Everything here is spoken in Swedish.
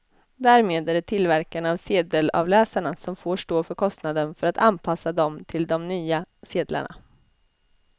Därmed är det tillverkarna av sedelavläsarna som får stå för kostnaden för att anpassa dem till de nya sedlarna.